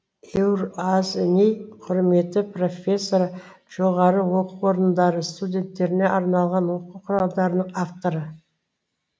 еуразни құрметті профессоры жоғары оқу орындары студенттеріне арналған оқу құралдарының авторы